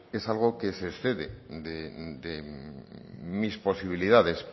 es algo que se excede de mis posibilidades